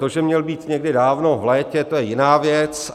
To, že měl být někdy dávno, v létě, to je jiná věc.